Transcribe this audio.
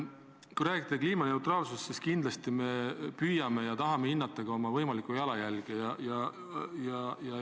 Kui rääkida kliimaneutraalsusest, siis kindlasti me püüame ja tahame hinnata ka oma võimalikku jalajälge.